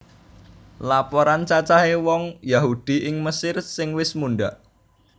Laporan cacahé wong Yahudi ing Mesir sing wis mundhak